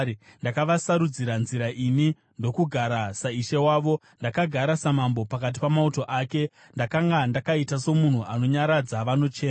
Ndakavasarudzira nzira ini ndokugara saishe wavo; ndakagara samambo pakati pamauto ake; ndakanga ndakaita somunhu anonyaradza vanochema.